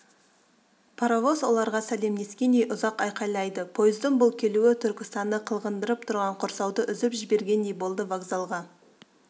паровоз оларға сәлемдескендей ұзақ айқайлайды пойыздың бұл келуі түркістанды қылғындырып тұрған құрсауды үзіп жібергендей болды вокзалға